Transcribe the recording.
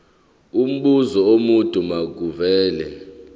umbuzo omude makuvele